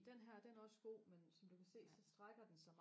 den her den er også god men som du kan se så strækker den sig